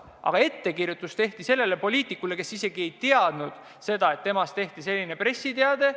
Aga ettekirjutus tehti sellele poliitikule, kes ei teadnud seda, et temast tehti selline pressiteade.